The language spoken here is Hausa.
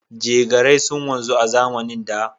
Jegarai sun wanzu a zamanin da.